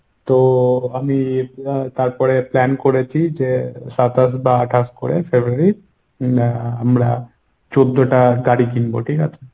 তো আমি তারপরে plan করেছি যে সাতাশ বা আটাশ করে fedruary’র এর আমরা চোদ্দ টা গাড়ি কিনবো ঠিকাছে?